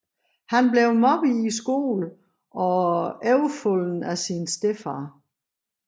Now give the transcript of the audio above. Han blev mobbet i skolen og overfaldet af sin stedfar